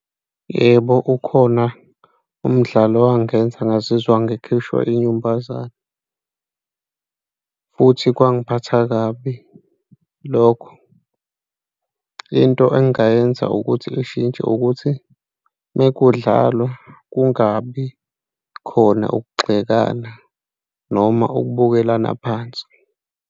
Yebo, kukhona umdlalo owangenza ngazizwa ngikhishwa inyumbazane, futhi kwangiphatha kabi lokho. Into engingayenza ukuthi ishintshe ukuthi uma kudlalwa kungabi khona ukugxekana noma ukubukelana phansi.